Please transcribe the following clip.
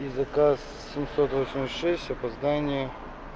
и заказ семьсот восемьдесят шесть опоздание